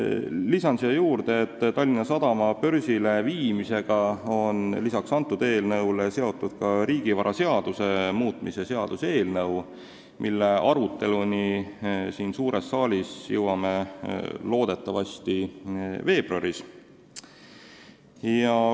Lisan siia juurde, et Tallinna Sadama börsile viimisega on peale selle eelnõu seotud ka riigivaraseaduse muutmise seaduse eelnõu, mille aruteluni siin suures saalis me jõuame loodetavasti veebruaris.